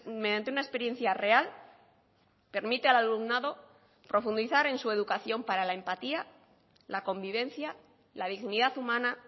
mediante una experiencia real permite al alumnado profundizar en su educación para la empatía la convivencia la dignidad humana